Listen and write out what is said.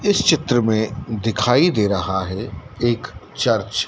इस चित्र में दिखाई दे रहा है एक चर्च ।